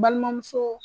Balimamuso